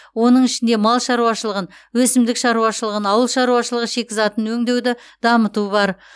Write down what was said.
оның ішінде мал шаруашылығын өсімдік шаруашылығын ауыл шаруашылығы шикізатын өңдеуді дамыту бар